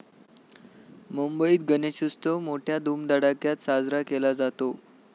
मुंबईत गणेशोत्सव मोठय़ा धुमधडाक्यात साजरा केला जातो.